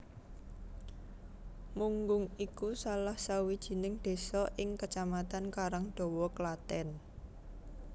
Munggung iku salah sawijining désa ing Kecamatan Karangdawa Klathèn